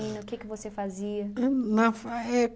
O que que você fazia? Ahn na fa é